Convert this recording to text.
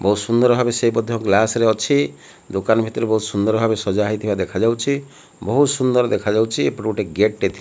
ବହୁତ ସୁନ୍ଦର ଭାବେ ସେ ମଧ୍ୟ ଗ୍ଲାସ୍ ରେ ଅଛି ଦୋକାନ ଭିତରେ ବହୁତ ସୁନ୍ଦର ଭାବେ ସଜା ହେଇଥିବା ଦେଖାଯାଉଛି ବହୁତ ସୁନ୍ଦର ଦେଖାଯାଉଛି ଏପଟେ ଗୋଟେ ଗେଟ୍ ଟେ ଥି --